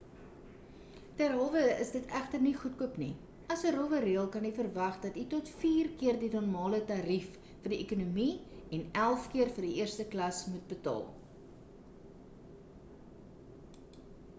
derhalwe is dit egter nie goedkoop nie as 'n rowwe reël kan u verwag dat u tot vier keer die normale tarief vir die ekonomie en elf keer vir die eerste klas moet betaal